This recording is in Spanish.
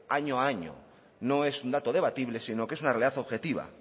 año a año no es un dato debatible sino que es una realidad objetiva